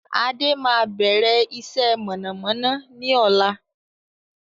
Adé máa bẹ̀rẹ̀ iṣẹ́ mọ̀nàmọ́ná ni ọ̀la